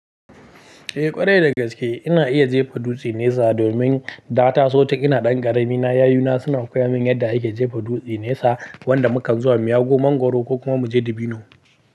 Eh ƙwarai dagaske ina iya jefa dutse nesa domin da ta so ta. Ina ɗan ƙarami na yayuna suna koya min yadda ake jefa dutse nesa wanda muka zuwa mu ya go mangoro ko kuma muje dubino.